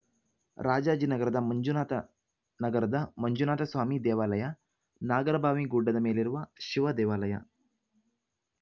ರಾಜಾಜಿನಗರದ ಮಂಜುನಾಥ ನಗರದ ಮಂಜುನಾಥಸ್ವಾಮಿ ದೇವಾಲಯ ನಾಗರಭಾವಿ ಗುಡ್ಡದ ಮೇಲಿರುವ ಶಿವದೇವಾಲಯ